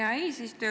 Hea eesistuja!